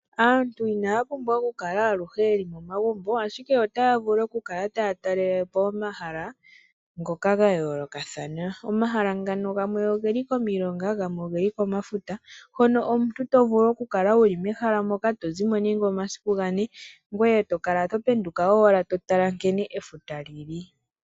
Aantu inaya pumbwa ashike okukala aluhe yeli omagumbo, ashike otaya pumbwa yakale taya talelepo omahala ngoka gayoolokathana. Omahala ngano gamwe ogeli komilonga, gamwe oge li komafuta , hono omuntu tovulu okukala wuli memahala moka tozi mo nande omasiku gane , ngoye tokala to penduka owala to tala nkene efuta lili.